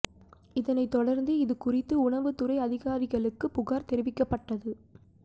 இதனை தொடந்து இது குறித்து உணவு துறை அதிகாரிகளுக்கு புகார் தெரிவிக்கப்பட்டது